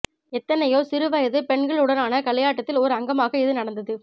எத்தனையோ சிறு வயது பெண்களுடனான களியாட்டத்தில் ஒரு அங்கமாக இது நடந்தது